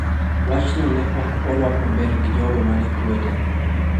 " Wachno ne ok orwak maber gi jogo ma ne kwede."